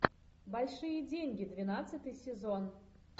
большие деньги двенадцатый сезон